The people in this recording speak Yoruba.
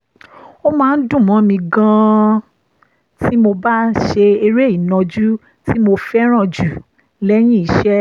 ó máa ń dùn mọ́ mi gan-an tí mo bá ń ṣe eré ìnàjú tí mo fẹ́ràn jù lẹ́yìn iṣẹ́